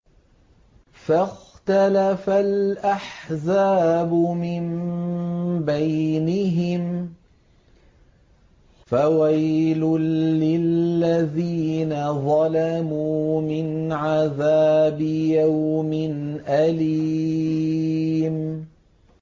فَاخْتَلَفَ الْأَحْزَابُ مِن بَيْنِهِمْ ۖ فَوَيْلٌ لِّلَّذِينَ ظَلَمُوا مِنْ عَذَابِ يَوْمٍ أَلِيمٍ